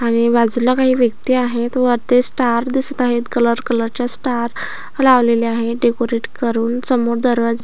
आणि बाजूला काही व्यक्ती आहेत वरती स्टार दिसत आहे कलर कलरचे स्टार लावलेले आहे डेकोरेट करून समोर दरवाजा--